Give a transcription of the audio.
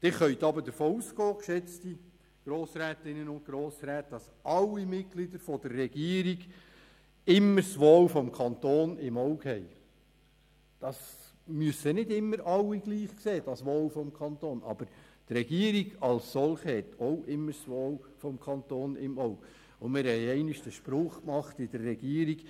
Sie können jedoch davon ausgehen, geschätzte Grossrätinnen und Grossräte, dass alle Mitglieder der Regierung immer das Wohl des Kantons im Auge haben.